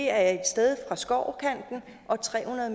er et sted fra skovkanten og tre hundrede